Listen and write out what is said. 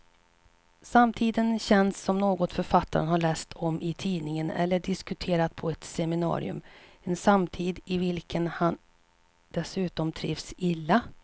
Samtiden känns som något författaren har läst om i tidningen eller diskuterat på ett seminarium, en samtid i vilken han dessutom trivs illa.